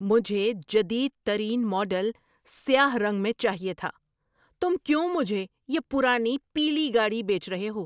مجھے جدید ترین ماڈل سیاہ رنگ میں چاہیے تھا۔ تم کیوں مجھے یہ پرانی پیلی گاڑی بیچ رہے ہو؟